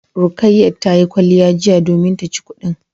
Rukayat tayi kwalliya jiya domin taci kudin